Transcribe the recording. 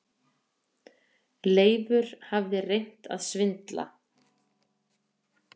Leifur hafði reynt að svindla.